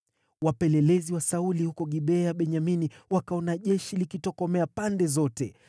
Wapelelezi wa Sauli huko Gibea ya Benyamini wakaona jeshi likitokomea pande zote.